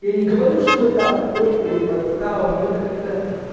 я не говорю что это фейк или подстава но это как-то